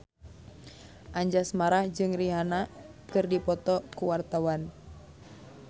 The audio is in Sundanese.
Anjasmara jeung Rihanna keur dipoto ku wartawan